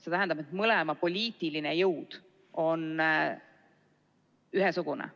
See tähendab, et mõlema poliitiline jõud on ühesugune.